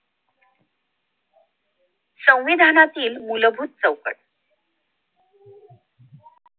संविधानातील मूलभूत चौकट